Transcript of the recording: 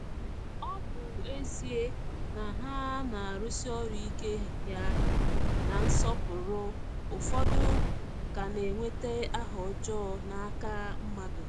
Ọ bụ ezie na ha na-arụsi ọrụ ike ya na nsọpụrụ, ụfọdụ ka na-enweta aha ọjọọ n’aka mmadụ.